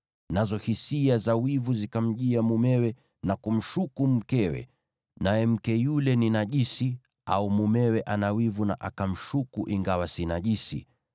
nazo hisia za wivu zikamjia mumewe na kumshuku mkewe, naye mke yule ni najisi, au mumewe ana wivu na akamshuku ingawa si najisi,